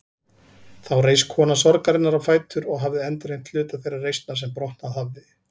Þá reis kona sorgarinnar á fætur og hafði endurheimt hluta þeirrar reisnar sem brotnað hafði.